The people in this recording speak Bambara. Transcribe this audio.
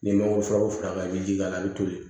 N'i mago furaw fara ka i jija a bɛ toli